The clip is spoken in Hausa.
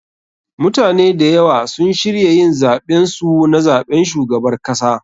MUtane da ywa sun shirya yin zaben su na zaɓen shugabar kasa.